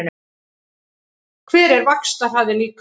Hver er vaxtarhraði líkamans?